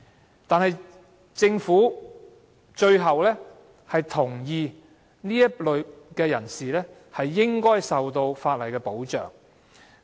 然而，政府最後同意這類人士應該受到法例保障。